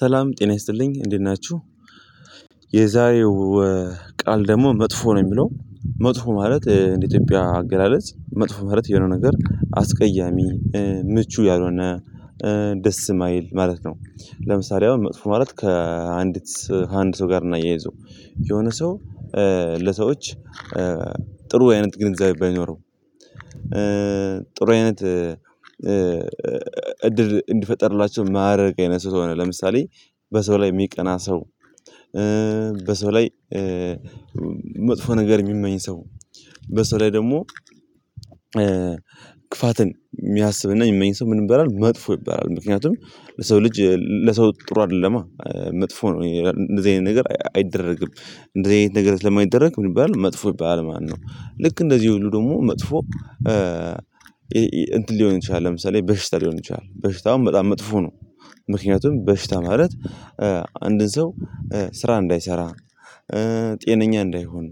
ሰላም ጤና ይስጥልኝ እንዴት ናችሁ። የዛሬው ቃል ደግሞ መጥፎ ነው የሚለው መጥፎ ማለት እንደ ኢትዮጵያ አገላለጽ መጥፎ ማለት የሆነው ነገር አስቀያሚ ምቹ ያልሆነ ደስ የማይል ማለት ነው። ለምሳሌ አሁን መጥፎ ማለት ከአንዲት ከአንድ ሰው ጋር እናያይዘው የሆነ ሰው ለሰዎች ጥሩ አይነት ግንዛቤ ባይኖረው። ጥሩ አይነት እድል እንዲፈጠርላቸው ማያረግ የነሱት ሆነ ለምሳሌ በሰው ላይ የሚቀና ሰው። ላይ መጥፎ ነገር የሚመኝ ሰው። በሰው ላይ ደግሞ ክፋትን የሚያስብና የሚመኝ ሰው ምንም በላል መጥፎ ይባላል። ምክንያቱም ለሰው ልጅ ለሰው ጥሩ አይደለም። መጥፎ ነው እንደዚህ አይነት ነገር አይደረግም። እንደዚህ አይነት ነገር ለማይደረግ ምን ይባላል መጥፎ ይባላል ማነው? ልክ እንደዚህ ሁሉ ደግሞ መጥፎ። እንትን ሊሆን ይችላል ለምሳሌ በሽታ ሊሆን ይችላል በሽታውም በጣም መጥፎ ነው። ምክንያቱም በሽታ ማለት አንድን ሰው ስራ እንዳይሰራ። ጤነኛ እንዳይሆን